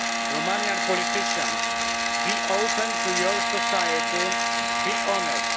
Romanian politicians be open to your society, be honest.